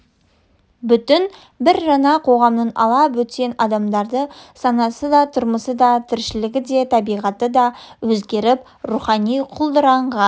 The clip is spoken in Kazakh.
бүтін бір жаңа қоғамның ала бөтен адамдары санасы да тұрмысы да тіршілігі де табиғаты да өзгеріп рухани құлдыраған